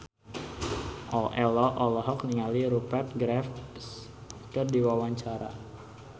Ello olohok ningali Rupert Graves keur diwawancara